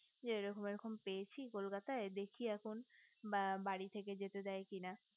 যে এরকম এরকম পেয়েছি কলকাতায় দেখি এখন বা বাড়ি থেকে যেতে দেয় কি না